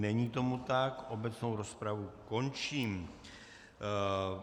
Není tomu tak, obecnou rozpravu končím.